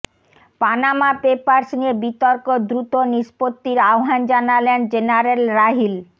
Panama papers নিয়ে বিতর্ক দ্রুত নিষ্পত্তির আহ্বান জানালেন জেনারেল রাহিল